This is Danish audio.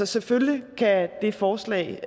selvfølgelig kan det forslag